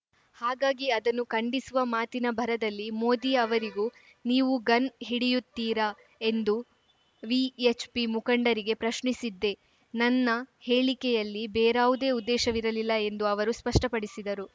ಹಾಗಾಗಿ ಅದನ್ನು ಖಂಡಿಸುವ ಮಾತಿನ ಭರದಲ್ಲಿ ಮೋದಿ ಅವರಿಗೂ ನೀವು ಗನ್‌ ಹಿಡಿಯುತ್ತೀರಾ ಎಂದು ವಿಎಚ್‌ಪಿ ಮುಖಂಡರಿಗೆ ಪ್ರಶ್ನಿಸಿದ್ದೆ ನನ್ನ ಹೇಳಿಕೆಯಲ್ಲಿ ಬೇರಾವುದೇ ಉದ್ದೇಶವಿರಲಿಲ್ಲ ಎಂದು ಅವರು ಸ್ಪಷ್ಟಪಡಿಸಿದರು